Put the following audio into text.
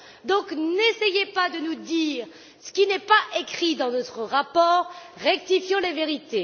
Donc n'essayez pas de nous dire ce qui n'est pas écrit dans notre rapport, rétablissons la vérité.